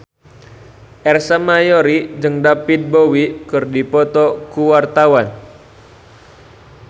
Ersa Mayori jeung David Bowie keur dipoto ku wartawan